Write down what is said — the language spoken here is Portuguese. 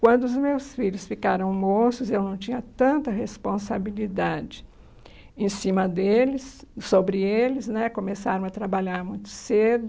Quando os meus filhos ficaram moços, eu não tinha tanta responsabilidade em cima deles, sobre eles né, começaram a trabalhar muito cedo.